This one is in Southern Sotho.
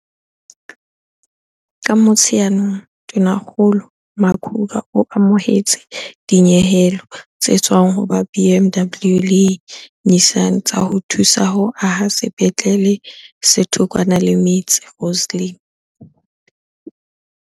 Ka Motsheanong, Tonakgolo Makhura o amohetse dinyehelo tse tswang ho ba BMW le Nissan tsa ho thusa ho aha sepetlele se thokwana le metse Rosslyn, Tshwane.